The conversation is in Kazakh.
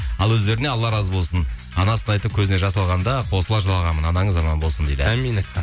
ал өздеріне алла разы болсын анасын айтып көзіне жас алғанда қосыла жылағанмын анаңыз аман болсын дейді әумин